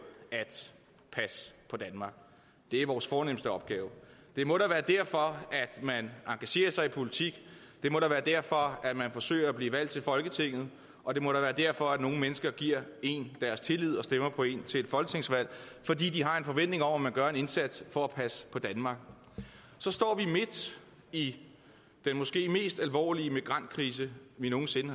at passe på danmark det er vores fornemste opgave det må da være derfor at man engagerer sig i politik det må da være derfor at man forsøger at blive valgt til folketinget og det må da være derfor at nogle mennesker giver én deres tillid og stemmer på én til et folketingsvalg fordi de har en forventning om at man gør en indsats for at passe på danmark så står vi midt i den måske mest alvorlige migrantkrise vi nogen sinde